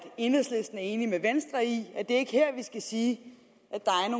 enhedslisten er enig med venstre i at det ikke er her vi skal sige